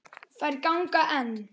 Þær ganga enn.